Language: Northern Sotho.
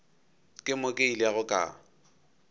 ke mo ke ilego ka